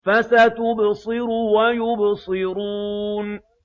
فَسَتُبْصِرُ وَيُبْصِرُونَ